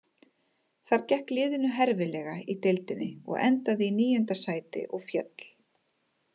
Þar gekk liðinu herfilega í deildinni og endaði í níunda sæti og féll.